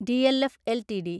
DLF LTD